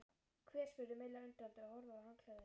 Hver? spurði Milla undrandi og horfði á handklæðið.